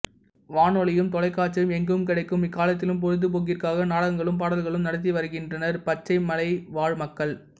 வானொலியும் தொலைக்காட்சியும் எங்கும் கிடைக்கும் இக்காலத்திலும் பொழுதுபோக்கிற்காக நாடகங்களும் பாடல்களும் நடத்தி வருகின்றனர் பச்சைமலைவாழ் மக்கள்